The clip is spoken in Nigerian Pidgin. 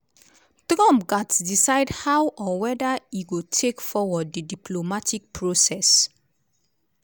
trump gatz decide how - or weda - e go take forward di diplomatic process